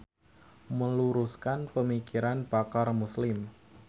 Meluruskan Pamikiran Pakar Muslim.